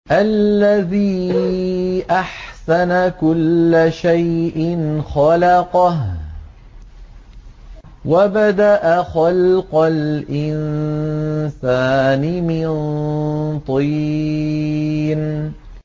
الَّذِي أَحْسَنَ كُلَّ شَيْءٍ خَلَقَهُ ۖ وَبَدَأَ خَلْقَ الْإِنسَانِ مِن طِينٍ